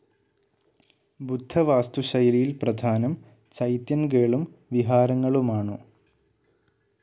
ബുദ്ധ വാസ്തുശൈലിയിൽ പ്രധാനം ചൈത്യൻഗേളും വിഹാരങ്ങളുമാനു.